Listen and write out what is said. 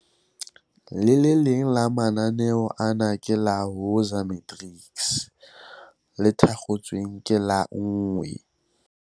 Le leng la mananeo ana ke la Woza Matrics, le thakgotsweng ka la 1